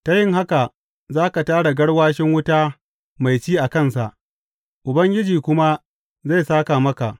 Ta yin haka, za ka tara garwashin wuta mai ci a kansa, Ubangiji kuma zai sāka maka.